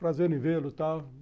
Prazer em vê-lo, tal.